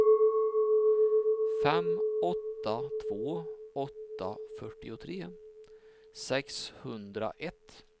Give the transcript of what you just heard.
fem åtta två åtta fyrtiotre sexhundraett